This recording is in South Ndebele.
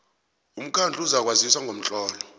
umkhandlu uzakwazisa ngomtlolo